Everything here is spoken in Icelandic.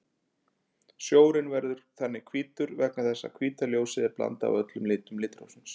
Snjórinn verður þannig hvítur vegna þess að hvíta ljósið er blanda af öllum litum litrófsins.